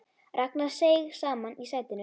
Ragnar seig saman í sætinu.